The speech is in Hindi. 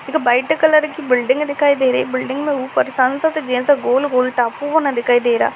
एक वाइट कलर की बिल्डिंग दिखाई दे रही बिल्डिंग मे ऊपर सन्सेट जेसा गोल-गोल टापू बना दिखाई दे रहा --